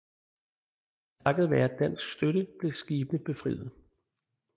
Takket være dansk støtte blev skibene befriet